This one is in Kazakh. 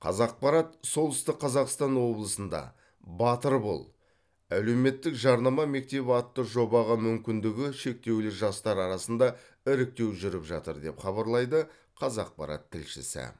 қазақпарат солтүстік қазақстан облысында батыр бол әлеуметтік жарнама мектебі атты жобаға мүмкіндігі шектеулі жастар арасында іріктеу жүріп жатыр деп хабарлайды қазақпарат тілшісі